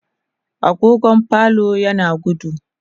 agogon falon yana gudu